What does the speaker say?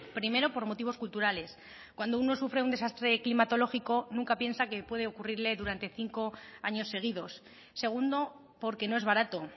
primero por motivos culturales cuando uno sufre un desastre climatológico nunca piensa que puede ocurrirle durante cinco años seguidos segundo porque no es barato